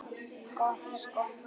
Gott skot.